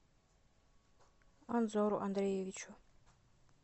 анзору андреевичу